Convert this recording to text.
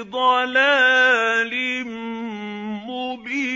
ضَلَالٍ مُّبِينٍ